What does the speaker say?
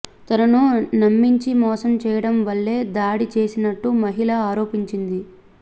తనను నమ్మించి మోసం చేయడం వల్లే దాడి చేసినట్టు మహిళ ఆరోపించింది